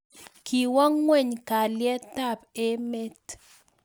kiwo ng'weny kalyetab emet